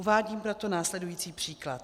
Uvádím proto následující příklad.